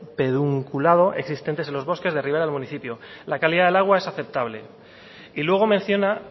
pedunculado existentes en los bosques de la rivera del municipio la calidad del agua es aceptable y luego menciona